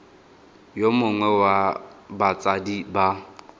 yo mongwe wa batsadi ba